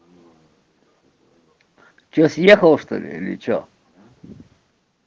сейчас ехал что-ли или что